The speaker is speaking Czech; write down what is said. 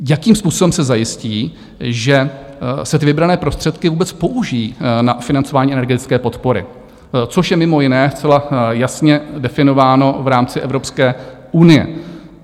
Jakým způsobem se zajistí, že se ty vybrané prostředky vůbec použijí na financování energetické podpory, což je mimo jiné zcela jasně definováno v rámci Evropské unie?